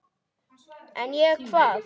En ég, hvað?